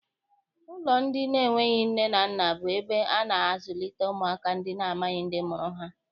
Ụlọ ndị enweghị nne na nna bụ ebe a na-azụlite ụmụaka ndị amaghị ndị mụrụ ha.